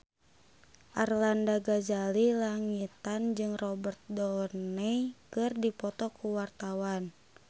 Arlanda Ghazali Langitan jeung Robert Downey keur dipoto ku wartawan